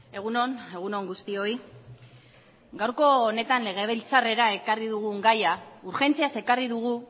egun on egun on guztioi gaurko honetan legebiltzarrera ekarri dugun gaia urgentziaz ekarri dugu